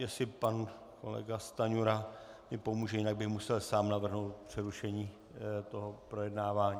Jestli pan kolega Stanjura mi pomůže, jinak bych musel sám navrhnout přerušení tohoto projednávání.